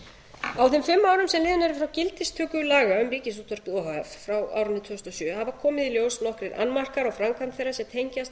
frá gildistöku laga um ríkisútvarpið o h f frá árinu tvö þúsund og sjö hafa komið í ljós nokkrir annmarkar á framkvæmd þeirra sem tengjast